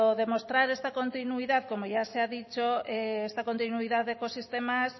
demostrar esta continuidad de ecosistemas